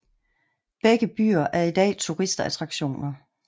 Begge byer er i dag turistattraktioner